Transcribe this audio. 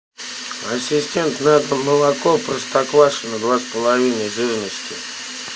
ассистент надо молоко простоквашино два с половиной жирности